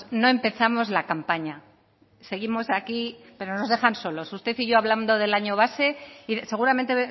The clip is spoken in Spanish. no empezamos la campaña seguimos aquí pero nos dejan solos usted y yo hablando del año base y seguramente